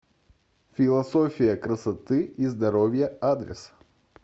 философия красоты и здоровья адрес